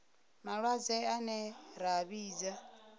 malwadze ane ra a vhidza